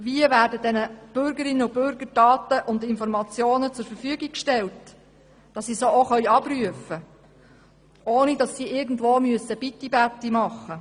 Wie werden den Bürgerinnen und Bürgern die Daten zur Verfügung gestellt, damit sie diese abrufen können, ohne darum bitten zu müssen?